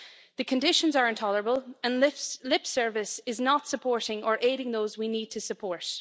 The conditions are intolerable, and lip service is not supporting or aiding those we need to support.